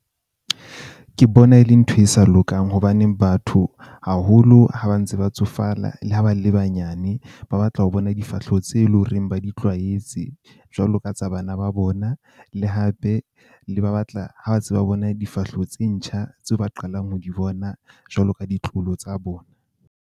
Ke bona e le ntho e sa lokang hobaneng batho haholo ha ba ntse ba tsofala le ha ba le banyane, ba batla ho bona difahleho tse leng horeng ba di tlwaetse, jwalo ka tsa bana ba bona. Le hape le ba batla ha tse ba bona difahleho tse ntjha tseo ba qalang ho di bona jwalo ka ditloholo tsa bona.